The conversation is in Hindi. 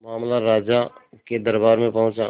मामला राजा के दरबार में पहुंचा